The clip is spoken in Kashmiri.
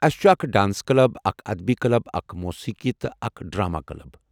اسہ چُھ اکھ ڈانس کلب، اکھ ادبی کلب، اکھ موسیقی تہٕ اکھ ڈرٛامہ کلب۔